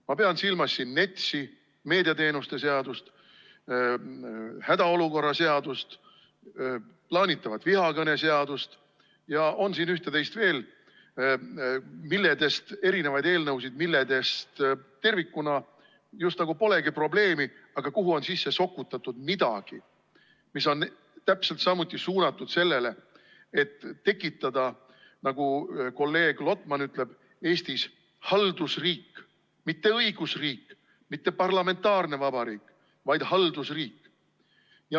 Ma pean siin silmas NETS-i, meediateenuste seadust, hädaolukorra seadust, plaanitavat vihakõneseadust, ja siin on üht-teist veel, mitmeid eelnõusid, milles tervikuna just nagu polegi probleemi, aga kuhu on sisse sokutatud midagi, mis on täpselt samuti suunatud sellele, et tekitada, nagu kolleeg Lotman ütleb, Eestis haldusriik – mitte õigusriik, mitte parlamentaarne vabariik, vaid haldusriik.